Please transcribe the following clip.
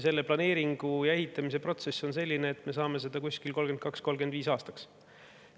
Selle planeeringu ja ehitamise protsess on selline, et me saame selle 2032.–2035. aastaks.